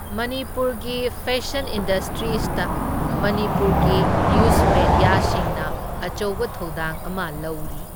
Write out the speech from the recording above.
ꯃꯅꯤꯄꯨꯔꯒꯤ fashion industrialist ꯃꯅꯤꯄꯨꯔꯒꯤ news ꯃꯦꯗ꯭ꯌꯥꯁꯤꯡꯅ ꯑꯆꯧꯕ ꯊꯧꯗꯥꯡ ꯑꯃ ꯂꯧꯔꯤ꯫